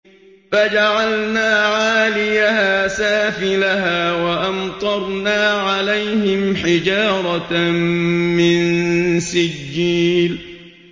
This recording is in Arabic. فَجَعَلْنَا عَالِيَهَا سَافِلَهَا وَأَمْطَرْنَا عَلَيْهِمْ حِجَارَةً مِّن سِجِّيلٍ